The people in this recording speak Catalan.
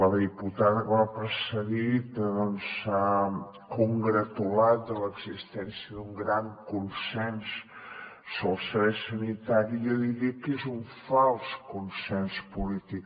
la diputada que m’ha precedit s’ha congratulat de l’existència d’un gran consens sobre el servei sanitari i jo diria que és un fals consens polític